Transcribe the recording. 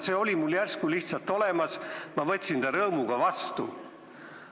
See oli mul järsku lihtsalt olemas ja ma võtsin selle rõõmuga vastu.